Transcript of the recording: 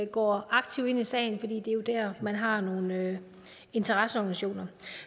går aktivt ind i sagen for det er man har nogle interesseorganisationer